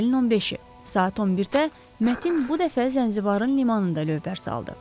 Aprelin 15-i, saat 11-də Mətin bu dəfə Zənzibarın limanında lövbər saldı.